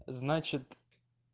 значит